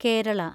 Kerala